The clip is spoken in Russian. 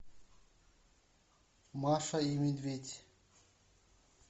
маша и медведь